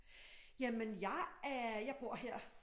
Jamen jeg er jeg bor her